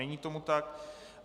Není tomu tak.